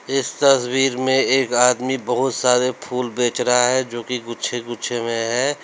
इस तस्वीर में एक आदमी बहुत सारे फूल बेच रहा है जो कि गुच्छे गुच्छे में है।